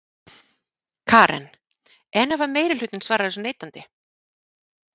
Karen: En ef að meirihlutinn svarar þessu neitandi?